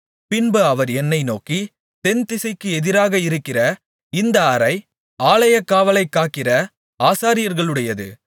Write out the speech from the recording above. பின்பு அவர் என்னை நோக்கி தென்திசைக்கு எதிராக இருக்கிற இந்த அறை ஆலயக்காவலைக் காக்கிற ஆசாரியர்களுடையது